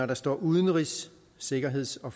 der står udenrigs sikkerheds og